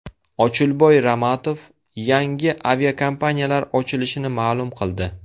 Ochilboy Ramatov yangi aviakompaniyalar ochilishini ma’lum qildi.